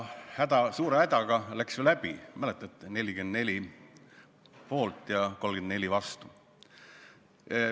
Ja suure hädaga läks see läbi, mäletate: 44 poolt ja 34 vastu.